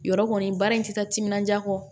Yɔrɔ kɔni baara in ti taa timinandiya kɔ